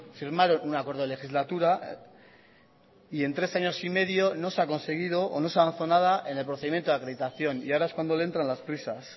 firmaron un acuerdo de legislatura y en tres años y medio no se ha conseguido o no se ha avanzado nada en el procedimiento de acreditación y ahora es cuando le entran las prisas